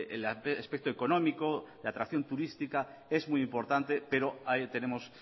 el aspecto económico la atracción turística es muy importante pero ahí tenemos